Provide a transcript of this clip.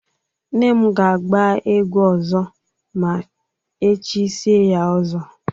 Nne m ga-agba egwu ọzọ ma e chisie ya ọzọ.